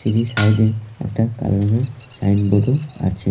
Tree side -এ একটা কালো রঙের সাইনবোর্ড -ও আছে।